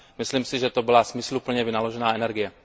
Myslím si, že to byla smysluplně vynaložená energie.